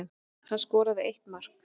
Hann skoraði eitt mark